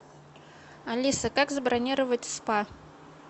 алиса как забронировать спа